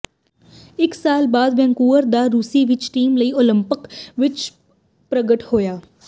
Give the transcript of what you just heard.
ਇਕ ਸਾਲ ਬਾਅਦ ਵੈਨਕੂਵਰ ਦਾ ਰੂਸੀ ਵਿਚ ਟੀਮ ਲਈ ਓਲੰਪਿਕ ਵਿੱਚ ਪ੍ਰਗਟ ਹੋਇਆ